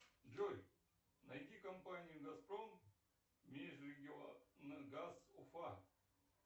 джой найди компанию газпром межрегионгаз уфа